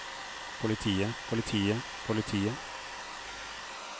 politiet politiet politiet